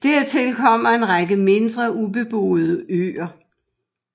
Dertil kommer en række mindre ubeboede øer